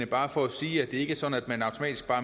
bare for at sige at det ikke er sådan at man automatisk